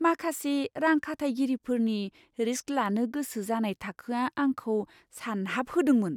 माखासे रां खाथायगिरिफोरनि रिस्क लानो गोसो जानाय थाखोआ आंखौ सानहाबहोदोंमोन।